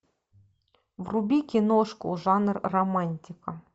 вруби киношку жанр романтика